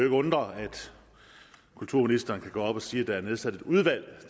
undre at kulturministeren kan gå op og sige at der er nedsat et udvalg